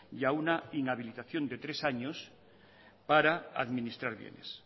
y a una inhabilitación de tres años para administrar bienes